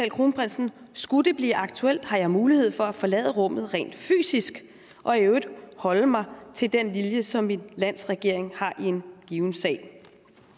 kronprinsen skulle det blive aktuelt har jeg mulighed for at forlade rummet rent fysisk og i øvrigt holde mig til den linje som mit lands regering har i en given sag